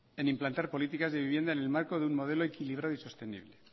en implantar políticas de vivienda en el marco de un modelo equilibrado y sostenible